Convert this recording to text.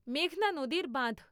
মেঘনা নদীর বাধঁ